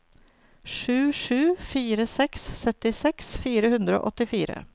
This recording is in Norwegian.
sju sju fire seks syttiseks fire hundre og åttifire